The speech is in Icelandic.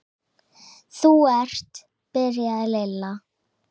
Þú ert. byrjaði Lilla.